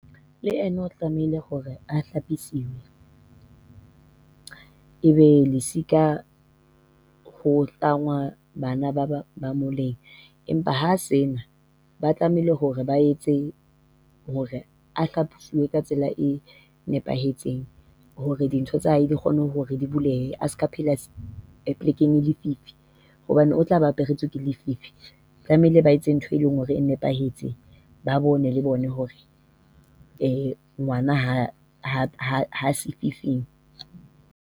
Le yena o tlamehile hore a hlapiswe. Ebe lesika ho tlangwa bana ba ba ba moleng , empa ha se na ba tlamehile hore ba etse hore a ka tsela e nepahetseng hore dintho tsa hae di kgone hore di bulehe. A seka phela polekeng e lefifi hobane o tlaba aperetswe ke lefifi. Tlamehile ba etse ntho e leng hore e nepahetse. Ba bone le bona hore ngwana ha ha ha ha sefifing.